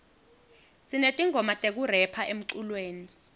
sinetingoma tekurepha emculweni